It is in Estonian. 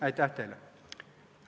Aitäh teile!